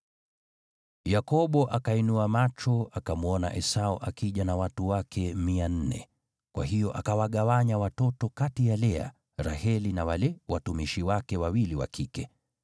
Yakobo akainua macho akamwona Esau akija na watu wake 400, kwa hiyo akawagawanya watoto kati ya Lea, Raheli na wale watumishi wake wawili wa kike.